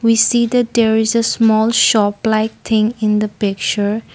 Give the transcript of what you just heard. we see that there is a small shop like thing in the picture.